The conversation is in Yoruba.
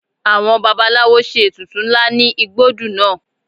Àwọn babaláwo ṣe ètùtù ńlá ní igbódù lánàá